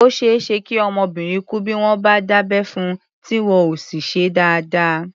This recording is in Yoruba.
Ó ṣeé ṣe kí ọmọbìnrin kú bí wọ́n bá dábẹ́ fun, tí wọn ò sì ṣe é dáadáa.